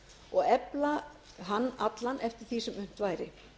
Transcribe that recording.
og efla hann allan eftir því sem unnt væri